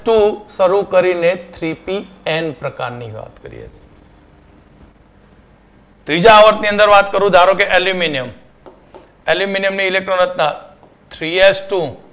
તો શરૂ કરીને Three Pn પ્રકાર ની વાત કરી બીજા આવર્ત ની અંદર વાત કરું તો aluminium aluminium ની ઇલેક્ટ્રોકતા Three H Two